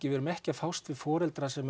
við erum ekki að fást við foreldra sem